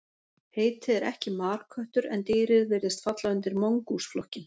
Heitið er ekki marköttur en dýrið virðist falla undir mongús flokkinn.